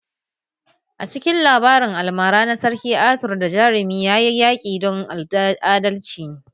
A cikin labarin almara na Sarki Arthur da jarumi, ya yi yaƙi don adalci ne